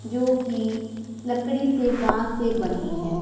जो की लकड़ी से बास से बनी है।